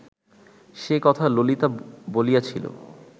সে কথা ললিতা বলিয়াছিল